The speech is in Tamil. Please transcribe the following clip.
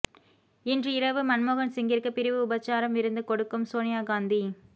இன்று இரவு மன்மோகன் சிங்கிற்கு பிரிவு உபச்சார விருந்து கொடுக்கும் சோனியா காந்தி